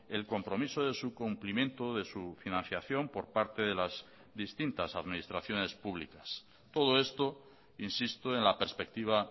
el compromiso de su cumplimiento de su financiación por parte de las distintas administraciones públicas todo esto insisto en la perspectiva